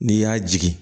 N'i y'a jigin